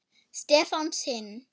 Stefán sinn.